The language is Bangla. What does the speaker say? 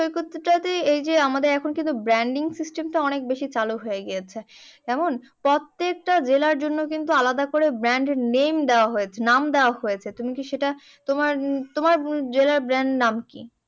সৈকতটা যে এইযে আমাদের এখন কিন্তু branding system টা অনেকবেশি চালু হয়ে গিয়েছে। এখন প্রত্যেকটা জেলার জন্য কিন্তু আলাদা করে brand name দেওয়া হয়েছে নাম দেওয়া হয়েছে। তুমি কি সেটা তোমার তোমার জেলার brand নাম কি?